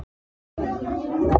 Asírí, viltu hoppa með mér?